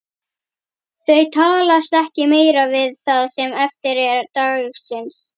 Þau talast ekki meira við það sem eftir er dagsins.